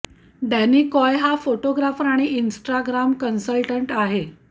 Danny Coy हा photographer आणि Instagram consultant आहे